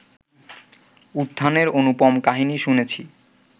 উত্থানের অনুপম কাহিনী শুনেছি